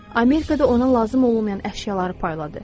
Amerikada ona lazım olmayan əşyaları payladı.